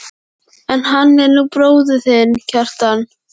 En hann er nú bróðir þinn, Kjartan.